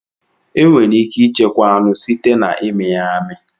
Enwere ike ichekwa anụ site na imi ya amị.